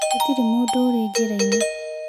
Gũtirĩ mũndũ ũrĩ njĩra-inĩ.